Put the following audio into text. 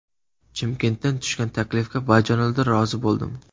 Chimkentdan tushgan taklifga bajonidil rozi bo‘ldim.